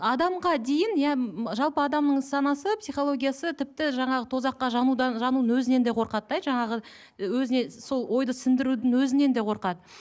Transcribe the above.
адамға дейін иә жалпы адамның санасы психологиясы тіпті жаңағы тозаққа жанудан жануының өзінен де қорқады да жаңағы і өзіне сол ойды сіңдірудің өзінен де қорқады